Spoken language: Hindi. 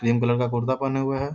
क्रीम कलर का कुर्ता पहने हुए है।